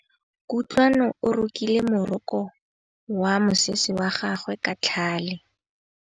Kutlwanô o rokile morokô wa mosese wa gagwe ka tlhale.